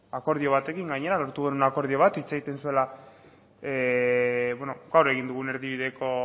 akordio batekin gainera lortu genuen akordio bat hitz egiten zuela gaur egin dugun erdibideko